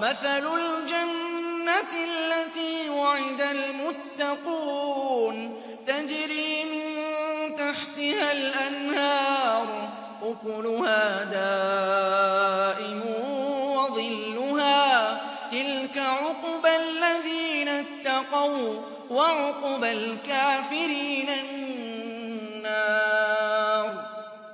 مَّثَلُ الْجَنَّةِ الَّتِي وُعِدَ الْمُتَّقُونَ ۖ تَجْرِي مِن تَحْتِهَا الْأَنْهَارُ ۖ أُكُلُهَا دَائِمٌ وَظِلُّهَا ۚ تِلْكَ عُقْبَى الَّذِينَ اتَّقَوا ۖ وَّعُقْبَى الْكَافِرِينَ النَّارُ